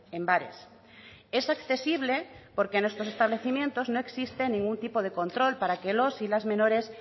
en bares es accesible porque a estos establecimientos no existe ningún tipo de control para que los y las menores